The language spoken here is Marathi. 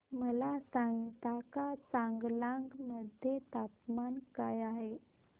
मला सांगता का चांगलांग मध्ये तापमान काय आहे